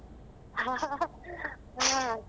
ಹ ಹ ಹ ಹೂಂ.